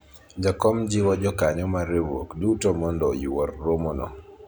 jakom jiwo jokanyo mar riwruok duto mondo oyuor romo no